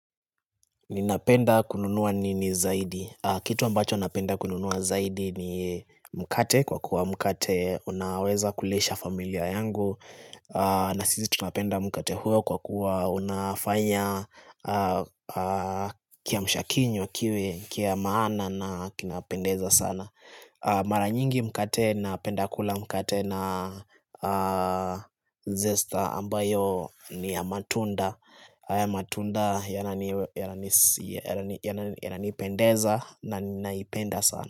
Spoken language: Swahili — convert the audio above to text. Ninapenda kununua nini zaidi. Kitu ambacho napenda kununua zaidi ni mkate kwa kuwa mkate unaweza kulisha familia yangu. Na sisi tunapenda mkate huo kwa kuwa unafanya kia mshakinywa kiwe, kia maana na kinapendeza sana. Maranyingi mkate na pendakula mkate na zesta ambayo ni ya matunda. Matunda yananipendeza na naipenda sana.